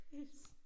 Chris